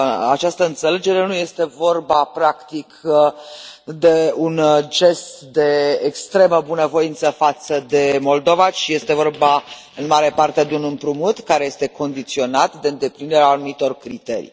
această înțelegere, nu este vorba, practic, de un gest de extremă bunăvoință față de Moldova, ci este vorba, în mare parte, de un împrumut care este condiționat de îndeplinirea anumitor criterii.